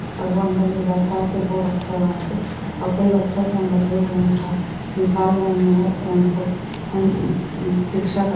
और वो अंदर ले जाता है फिर वो रखता है वहां से और कहीं लगे है वह पे निकल रहे है और रिक्शा कर--